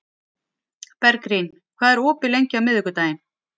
Bergrín, hvað er opið lengi á miðvikudaginn?